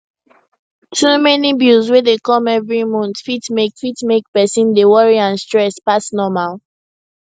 too many bills wey dey come every month fit mek fit mek person dey worry and stress pass normal